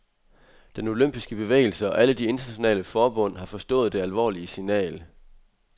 Den olympiske bevægelse og alle de internationale forbund har forstået det alvorlige signal.